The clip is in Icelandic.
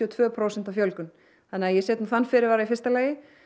og tvö prósent fjölgun þannig að ég set þann fyrirvara í fyrsta lagi